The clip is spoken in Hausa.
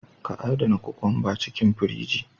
Ka adana kokwamba a cikin firiji.